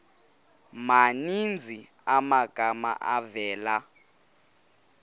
maninzi amagama avela